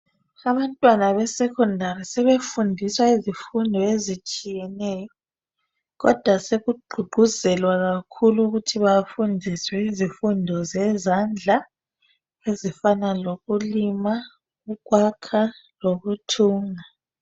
abantwana be secondary sebefundiswa izifundo ezitshiyeneyo kodwa sekugqugquzelwa kakhulu ukuthi bafundiswe izifundo zezandla ezifana lokulima ukwakha lokuthunga